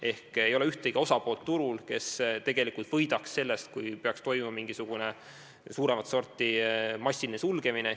Turul ei ole ühtegi osapoolt, kes tegelikult võidaks sellest, kui peaks toimuma mingisugune suuremat sorti sulgemine.